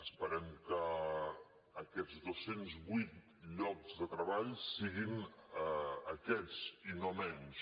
esperem que aquests dos cents i vuit llocs de treball siguin aquests i no menys